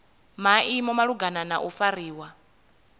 maimo malugana na u fariwa